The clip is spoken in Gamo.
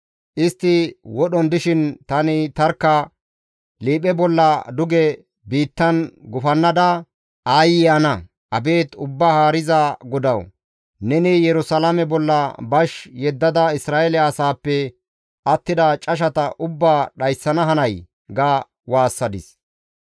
Istti wodhon dishin tani tarkka liiphe bolla duge biittan gufannada aayye ana! «Abeet Ubbaa Haariza GODAWU! Neni Yerusalaame bolla bash yeddada Isra7eele asaappe attida cashata ubbaa dhayssana hanay?» ga waassadis.